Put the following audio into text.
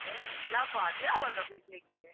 Hey ಇಲ್ಲಪ್ಪ ಅದು ಯಾವಾಗ ಬಿಡ್ಲಿಕ್ಕೆ.